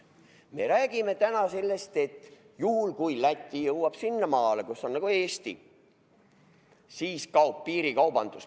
Me räägime täna sellest, et juhul kui Läti jõuab sinnamaale, kus on Eesti, siis kaob piirikaubandus.